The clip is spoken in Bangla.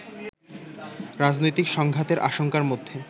রাজনৈতিক সংঘাতের আশঙ্কার মধ্যে